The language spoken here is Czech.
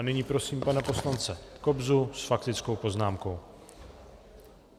A nyní prosím pana poslance Kobzu s faktickou poznámku.